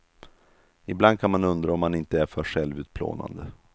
Ibland kan man undra om han inte är för självutplånande.